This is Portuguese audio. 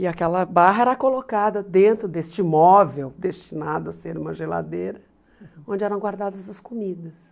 E aquela barra era colocada dentro deste móvel, destinado a ser uma geladeira, onde eram guardadas as comidas.